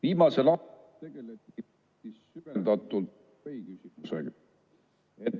Viimasel ajal tegeleti süvendatult ...